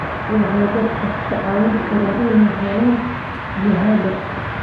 Waxay dadka ka caawin karaan inay helaan jihada.